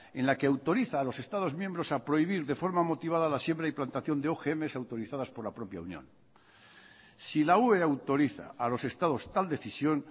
en la que autoriza a los estados miembros a prohibir de forma motivada la siembra y plantación de ogms autorizadas por la propia unión si la ue autoriza a los estados tal decisión